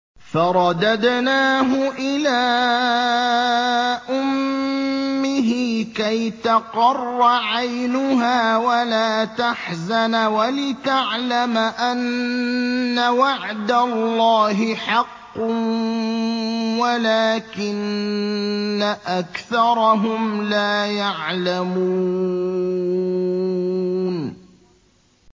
فَرَدَدْنَاهُ إِلَىٰ أُمِّهِ كَيْ تَقَرَّ عَيْنُهَا وَلَا تَحْزَنَ وَلِتَعْلَمَ أَنَّ وَعْدَ اللَّهِ حَقٌّ وَلَٰكِنَّ أَكْثَرَهُمْ لَا يَعْلَمُونَ